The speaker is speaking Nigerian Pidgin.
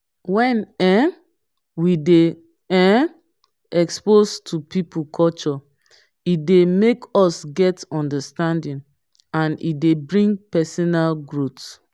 when um we dey um exposed to pipo culture e dey make us get understanding and e dey bring personal growth